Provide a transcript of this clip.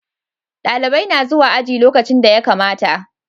Dalibai na zuwa aji lokacin da ya kamata